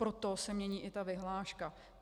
Proto se mění i ta vyhláška.